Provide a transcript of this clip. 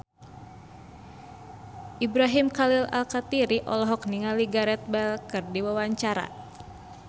Ibrahim Khalil Alkatiri olohok ningali Gareth Bale keur diwawancara